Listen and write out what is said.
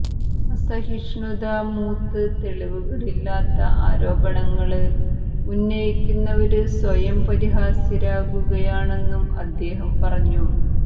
അസഹിഷ്ണുത മൂത്ത് തെളിവുകള് ഇല്ലാത്ത ആരോപണങ്ങള് ഉന്നയിക്കുന്നവര് സ്വയം പരിഹാസ്യരാകുകയാണെന്നും അദ്ദേഹം പറഞ്ഞു